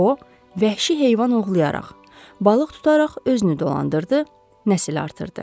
O, vəhşi heyvan ovlayaraq, balıq tutaraq özünü dolandırdı, nəsil artırdı.